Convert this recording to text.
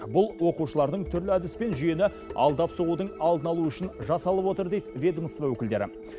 бұл оқушылардың түрлі әдіспен жүйені алдап соғудың алдын алуы үшін жасалып отыр дейді ведомство өкілдері